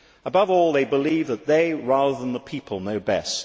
Above all, they believe that they, rather than the people, know best.